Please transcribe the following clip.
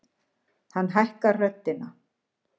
Hann hækkar röddina.